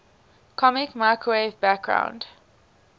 cosmic microwave background